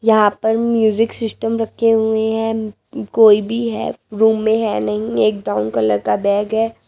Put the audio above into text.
यहां पर music system रखे हुए हैं कोई भी है रूम में है नहीं एक ब्राउन कलर का बैग है।